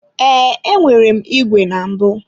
Ee, enwere m ìgwè na mbụ.